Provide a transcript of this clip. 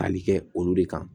Tali kɛ olu de kan